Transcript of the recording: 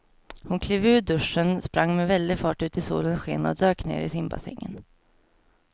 Hon klev ur duschen, sprang med väldig fart ut i solens sken och dök ner i simbassängen.